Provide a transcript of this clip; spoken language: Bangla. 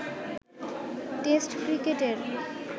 টেস্ট ক্রিকেটের